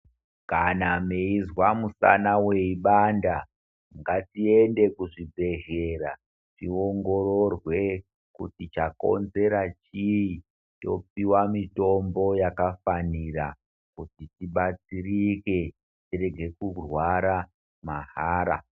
Kana mweizwa mushana weibanda ngatiende kuzvibhedhlera tiongororwe kuti chakonzera chii topuwa mitombo yakafanira tibetsereke tirege kurwara mahara.